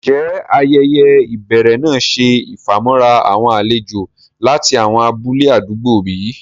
Ǹjẹ́ ayẹyẹ́ ibèrè náà ṣẹ ifamọ̀ra awọn àlèjò lati awọn abúlẹ̀ àdúgbò bí?